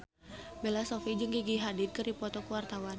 Bella Shofie jeung Gigi Hadid keur dipoto ku wartawan